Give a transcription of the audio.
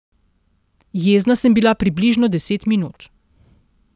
Jezna sem bila približno deset minut.